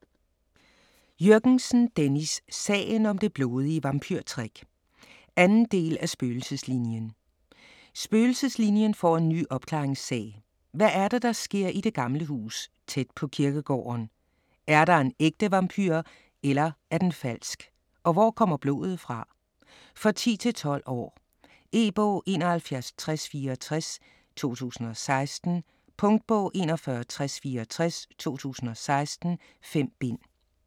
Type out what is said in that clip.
Jürgensen, Dennis: Sagen om det blodige vampyrtrick 2. del af Spøgelseslinien. Spøgelseslinien får en ny opklaringssag. Hvad er det der sker i det gamle hus, tæt på kirkegården? Er der en ægte vampyr eller er den falsk? Og hvor kommer blodet fra? For 10-12 år. E-bog 716064 2016. Punktbog 416064 2016. 5 bind.